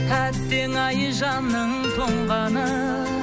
әттең ай жанның тоңғаны